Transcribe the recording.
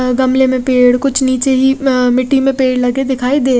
गमले में पेड़ कुछ निचे ही अ मिट्टी में पेड़ लगे दिखाई दे--